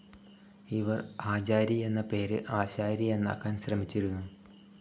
ഇവര് ആചാരി എന്ന പേര് ആശാരി എന്നാക്കാൻ ശ്രമിച്ചിരുന്നു.